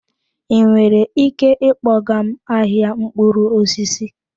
Ị nwere ike ịkpọga m ahịa mkpụrụ osisi?